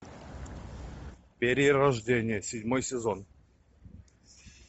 перерождение седьмой сезон